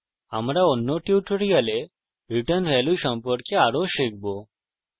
আমরা অন্য টিউটোরিয়ালে রিটার্ন ভ্যালু সম্পর্কে আরও শিখব